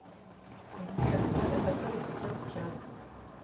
сбер скажи который сейчас час